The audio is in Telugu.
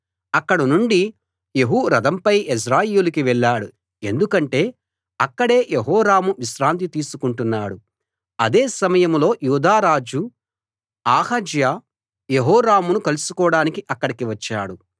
అక్కడనుండి యెహూ రథంపై యెజ్రెయేలుకి వెళ్ళాడు ఎందుకంటే అక్కడే యెహోరాము విశ్రాంతి తీసుకుంటున్నాడు అదే సమయంలో యూదా రాజు అహజ్యా యెహోరామును కలుసుకోడానికి అక్కడికి వచ్చాడు